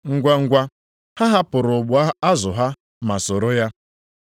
Ngwangwa ha hapụrụ ụgbụ azụ ha ma soro ya.